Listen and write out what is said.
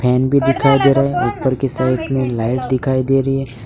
Fan भी दिखाई दे रहा है ऊपर की साइड में लाइट दिखाई दे रही है।